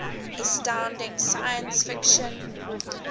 astounding science fiction